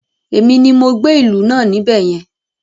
Èmi ni mo gbé ìlú náà níbẹ̀ yẹn